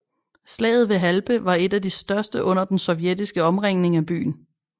Slaget ved Halbe var et af de største under den sovjetiske omringning af byen